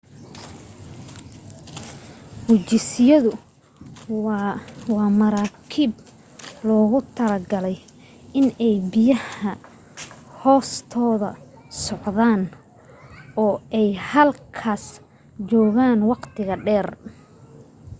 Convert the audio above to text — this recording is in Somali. gujisyadu waa maraakiib loogu talo galay inay biyaha hoostooda socdaan oo ay halkaas joogaan waqti dheer